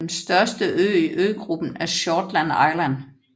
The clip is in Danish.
Den største ø I øgruppen er Shortland Island